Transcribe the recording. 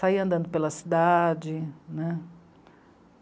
Saía andando pela cidade né.